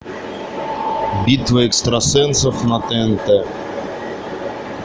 битва экстрасенсов на тнт